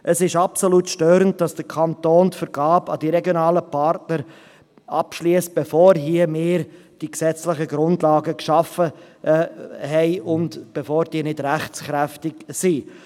Es ist absolut störend, dass der Kanton die Vergabe an die regionalen Partner abschliesst, bevor wir hier die gesetzlichen Grundlagen geschaffen haben und bevor diese rechtskräftig sind.